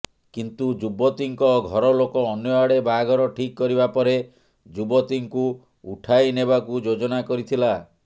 କିନ୍ତୁ ଯୁବତୀଙ୍କ ଘରଲୋକ ଅନ୍ୟଆଡ଼େ ବାହାଘର ଠିକ କରିବା ପରେ ଯୁବତୀଙ୍କୁ ଉଠାଇନେବାକୁ ଯୋଜନା କରିଥିଲା